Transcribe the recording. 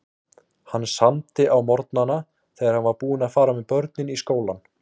Hann samdi á morgnana þegar hann var búinn að fara með börnin í skólann.